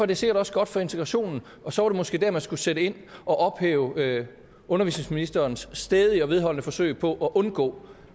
det sikkert også godt for integrationen og så er det måske der man skal sætte ind og ophæve undervisningsministerens stædige og vedholdende forsøg på at undgå